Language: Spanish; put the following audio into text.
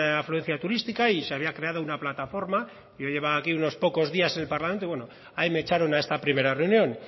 afluencia turística y se había creado una plataforma yo llevaba aquí unos pocos días en el parlamento y bueno ahí me echaron a esta primera reunión